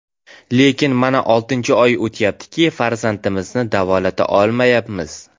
Lekin mana oltinchi oyga o‘tyaptiki, farzandimizni davolata olmayapmiz.